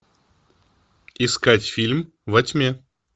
искать фильм во тьме